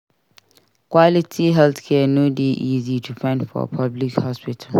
Quality healthcare no dey easy to find for public hospital.